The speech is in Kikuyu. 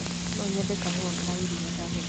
No nyende kahũa ka iria ndagũthaĩtha?